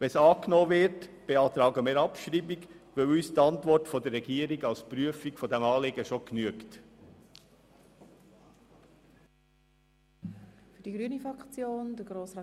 Wenn es angenommen würde, beantragen wir Abschreibung, weil uns die Antwort der Regierung als Prüfung des Anliegens bereits genügt.